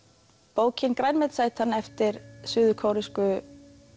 bókin grænmetisætan eftir suður kóresku